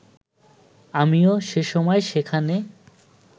আমিও সেসময় সেখানে